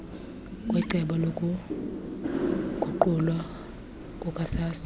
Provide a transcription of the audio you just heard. kwecebo lokuguqulwa kukasaa